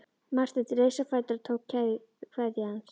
Marteinn reis á fætur og tók kveðju hans.